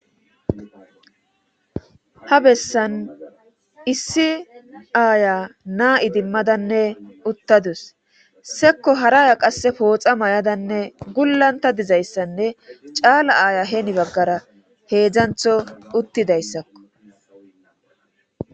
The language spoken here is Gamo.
ha bessan issi aaya naa7i dimmadanne uttadus sekko haraya qasse pooxa may7adanne gullanta dizayssanne caala aaya heeni baggara heedzdzantho uttidayssakko